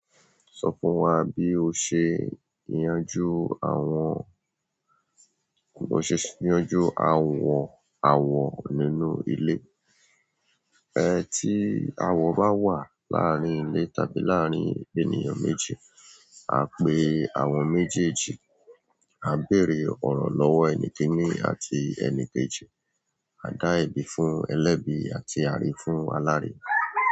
Sọ fún wa bí o ṣe n yanjú àwọn, bí o ṣe n yanjú àwọn àwọ̀ nínú ilé. Ẹ̀ tí àwọ̀ bá wà láàárín ilé tàbí láàárín ènìyàn méjì, à ń pè àwọn méjèèjì, a bèèrè ọ̀rọ̀ lọ́wọ́ ẹni kéni àti ẹni kejì, a dá ẹ̀bi fún ẹlẹ́bi àti àre fún aláre.